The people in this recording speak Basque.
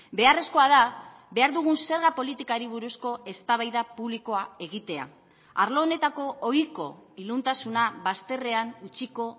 beharrezkoa da behar dugun zerga politikari buruzko eztabaida publikoa egitea arlo honetako ohiko iluntasuna bazterrean utziko